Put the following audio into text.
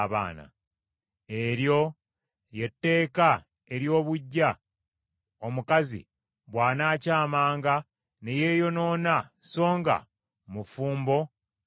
“ ‘Eryo lye tteeka ery’obuggya, omukazi bw’anaakyamanga ne yeeyonoona songa mufumbo aliko bba,